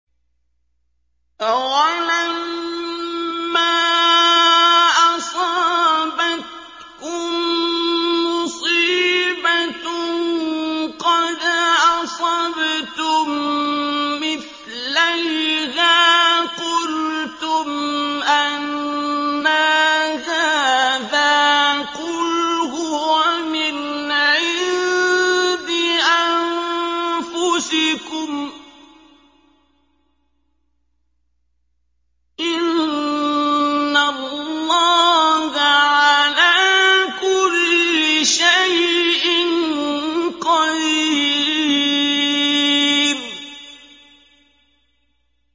أَوَلَمَّا أَصَابَتْكُم مُّصِيبَةٌ قَدْ أَصَبْتُم مِّثْلَيْهَا قُلْتُمْ أَنَّىٰ هَٰذَا ۖ قُلْ هُوَ مِنْ عِندِ أَنفُسِكُمْ ۗ إِنَّ اللَّهَ عَلَىٰ كُلِّ شَيْءٍ قَدِيرٌ